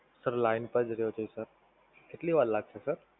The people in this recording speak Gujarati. Sir Line પર જ રયો છે Sir. કેટલી વાર લાગશે Sir?